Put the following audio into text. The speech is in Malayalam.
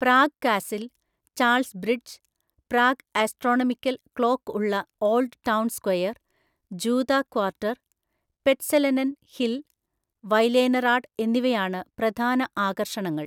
Prague castle, Charles bridge, Prague astronomical clock ഉള്ള ഓൾഡ് ടൗൺ സ്ക്വയർ, ജൂത ക്വാർട്ടർ, പെറ്റ്സലെനൻ ഹിൽ, വൈലേനറാഡ് എന്നിവയാണ് പ്രധാന ആകർഷണങ്ങൾ.